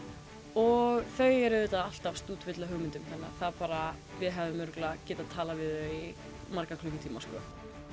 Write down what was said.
og þau eru auðvitað alltaf stútfull af hugmyndum þannig við hefðum örugglega getað talað við þau í marga klukkutíma sko